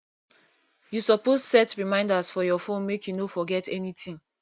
you suppose set reminders for your phone make you no forget anytin